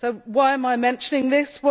Why am I mentioning this?